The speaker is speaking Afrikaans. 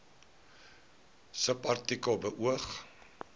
subartikel beoog